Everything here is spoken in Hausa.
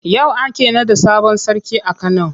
Yau ake naɗa sabon sarki a Kano.